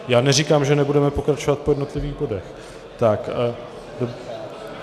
Já neříkám, že nebudeme pokračovat po jednotlivých bodech.